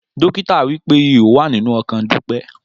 Dọkità wipé ihó wà ninú ọkàn Dupe